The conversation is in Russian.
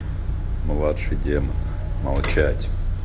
младший демон молчать